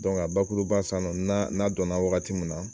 a bakuruba san nɔ n'a n'a don na wagati min na.